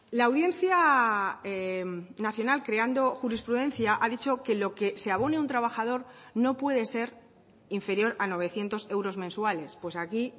la audiencia nacional creando jurisprudencia ha dicho que lo que se abone un trabajador no puede ser inferior a novecientos euros mensuales pues aquí